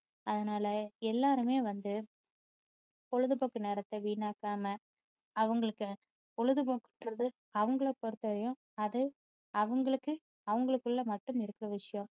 அதனால எல்லாருமே வந்து பொழுதுபோக்கு நேரத்த வீணாக்காம அவங்களுக்கு பொழுதுபோக்குக்குன்றது அவங்களை பொறுத்த வரைக்கும் அது அவங்களுக்கு அவங்களுக்குள்ள மட்டும் இருக்குற விஷயம்